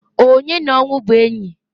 Onye n'ọnwụ bụ enyi?